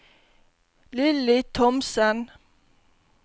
Lilly Thomsen